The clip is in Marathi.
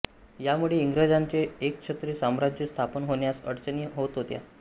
या मुळे इंग्रजांचे एकछत्री साम्राज्य स्थापन होण्यास अडचणी होत होत्या